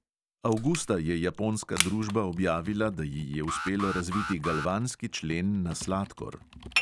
Avgusta je japonska družba objavila, da ji je uspelo razviti galvanski člen na sladkor.